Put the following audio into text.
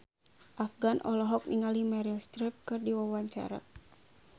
Afgan olohok ningali Meryl Streep keur diwawancara